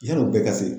Yann'o bɛɛ ka se